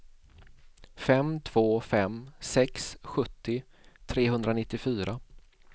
fem två fem sex sjuttio trehundranittiofyra